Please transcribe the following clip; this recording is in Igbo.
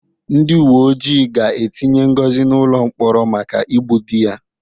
Ndị uwe ojii ga-etinye Ngozi n'ụlọ mkpọrọ maka igbu di ya.